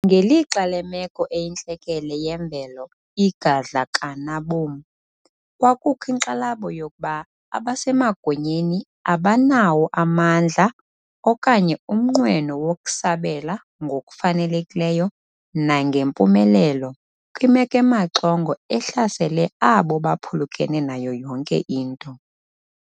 Ngelixa lemeko eyintlekele yemvelo igadla kanabom, kwakukho inkxalabo yokuba abasemagunyeni abanawo amandla okanye umnqweno wokusabela ngokufanelekileyo nangempumelelo kwimeko emaxongo ehlasele abo baphulukene nayo yonke into.